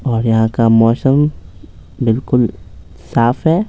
और यहाँ का मौसम बिल्कुल साफ है।